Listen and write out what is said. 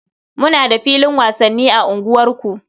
Muna da filin wasanni a unguwarku.